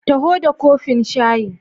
Taho da kofin shayi.